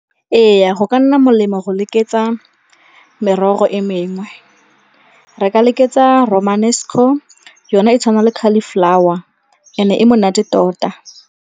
Ee, go ka nna molemo go lekeletsa merogo e mengwe. Re ka lekeletsa Romanesco yona e tshwana le cauliflower, yone e monate tota.